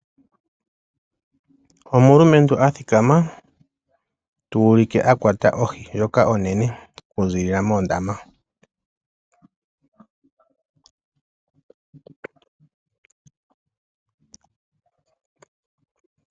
Omulumentu a thikama tuulike akwata ohi ndjoka onene okuzilila mondama.